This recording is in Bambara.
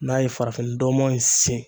N'a ye farafinndɔmɔ in sen.